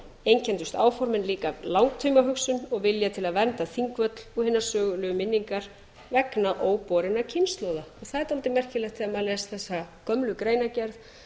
einkenndust langtímaformin einmitt af langtímahugsun og vilja til að vernda þingvöll og hina sögulegu minningar vegna óborinna kynslóða það er dálítið merkilegt þegar maður les þessa gömlu greinargerð